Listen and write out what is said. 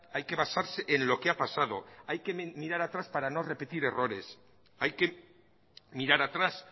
hay que basarse en lo que ha pasado hay que mirar atrás para no repetir errores hay que mirar atrás